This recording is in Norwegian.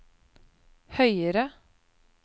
høyere